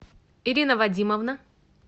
ирина вадимовна